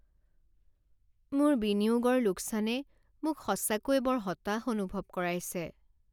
মোৰ বিনিয়োগৰ লোকচানে মোক সঁচাকৈয়ে বৰ হতাশ অনুভৱ কৰাইছে।